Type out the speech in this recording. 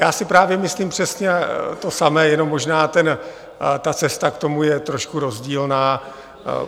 Já si právě myslím přesně to samé, jenom možná ta cesta k tomu je trošku rozdílná.